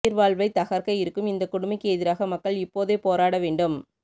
உயிர் வாழ்வை தகர்க்க இருக்கும் இந்த கொடுமைக்கு எதிராக மக்கள் இப்போதே போராட வேண்டும்